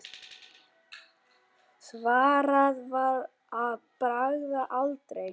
Svarað var að bragði: aldrei.